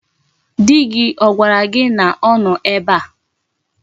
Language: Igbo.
Di gi ogwara gi na o no ebe a?